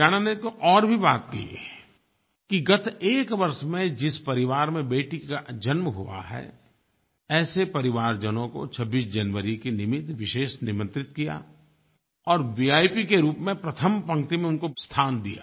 हरियाणा में तो और भी बात हुई कि गत एक वर्ष में जिस परिवार में बेटी का जन्म हुआ है ऐसे परिवारजनों को 26 जनवरी के निमित्त विशेष निमंत्रित किया और वीआईपी के रूप में प्रथम पंक्ति में उनको स्थान दिया